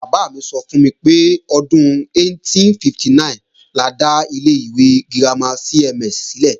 Bàbá mi sọ fún mi pé, ọdún 1859 la dá ilé ìwé girama CMS sílẹ̀